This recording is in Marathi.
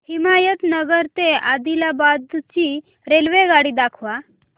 हिमायतनगर ते आदिलाबाद ची रेल्वेगाडी दाखवा